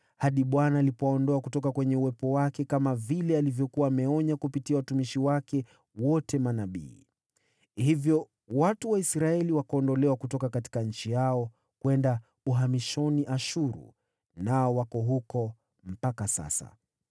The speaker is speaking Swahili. hadi Bwana alipowaondoa kutoka kwenye uwepo wake, kama vile alivyokuwa ameonya kupitia watumishi wake wote manabii. Hivyo watu wa Israeli wakaondolewa kutoka nchi yao kwenda uhamishoni Ashuru, nao wako huko mpaka sasa.